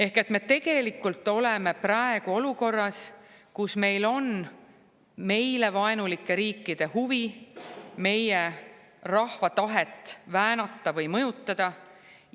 Ehk et me tegelikult oleme praegu olukorras, kus meile vaenulike riikide huvi on meie rahva tahet väänata või mõjutada.